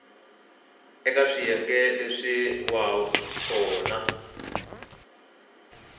eka swiyenge leswin wana swo